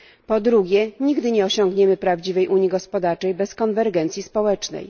Po drugie, nigdy nie osiągniemy prawdziwej unii gospodarczej bez konwergencji społecznej.